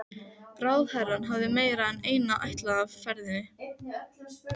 Ráðherrann hafði meira en eina ætlan með ferðinni.